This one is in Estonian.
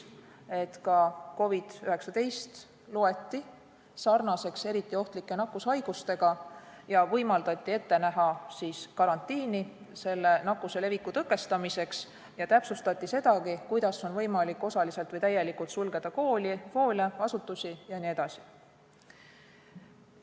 Ka COVID-19 loeti sarnaseks eriti ohtlike nakkushaigustega, võimaldati ette näha karantiini selle nakkuse leviku tõkestamiseks ja täpsustati sedagi, kuidas on võimalik osaliselt või täielikult sulgeda koole, hoolekandeasutusi jne.